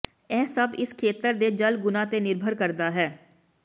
ਇਹ ਸਭ ਇਸ ਖੇਤਰ ਦੇ ਜਲ ਗੁਣਾ ਤੇ ਨਿਰਭਰ ਕਰਦਾ ਹੈ